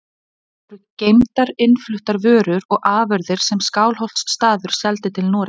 Þar voru geymdar innfluttar vörur og afurðir sem Skálholtsstaður seldi til Noregs.